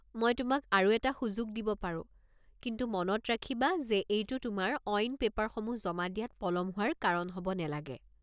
মই তোমাক আৰু এটা সুযোগ দিব পাৰো, কিন্তু মনত ৰাখিবা যে এইটো তোমাৰ অইন পেপাৰসমূহ জমা দিয়াত পলম হোৱাৰ কাৰণ হ'ব নেলাগে।